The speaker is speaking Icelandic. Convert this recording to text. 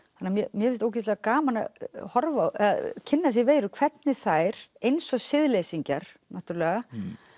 mér finnst ógeðslega gaman að kynna sér veirur hvernig þær eins og náttúrulega